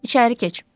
İçəri keç.